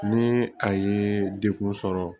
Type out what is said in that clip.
Ni a ye dekun sɔrɔ